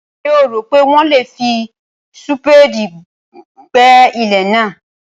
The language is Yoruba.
Ṣé o rò pé wọ́n lè fi súpéèdì gbẹ́ ilẹ̀ náà?